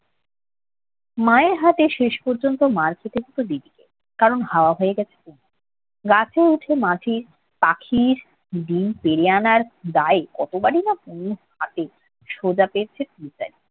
মায়ের হাতে শেষ পর্যন্ত মার খেতে হত দিদিকে। কারণ হাওয়া হয়ে গেছে তনু। গাছে উঠে মাছির~ পাখির ডিম পেড়ে আনার দায়ে কতবারই না তনুর হাতে সোজা পেয়েছে ডিম্পেল